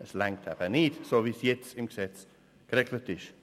Es reicht eben nicht, wie es zurzeit im Gesetz geregelt ist.